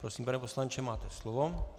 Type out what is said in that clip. Prosím, pane poslanče, máte slovo.